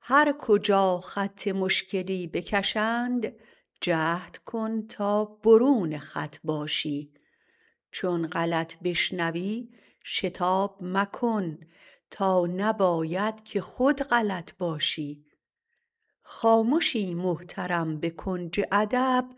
هر کجا خط مشکلی بکشند جهد کن تا برون خط باشی چون غلط بشنوی شتاب مکن تا نباید که خود غلط باشی خامشی محترم به کنج ادب